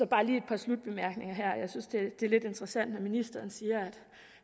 bare lige et par slutbemærkninger jeg synes det er lidt interessant når ministeren siger